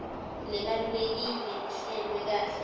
lebalulekile ihlelwe kahle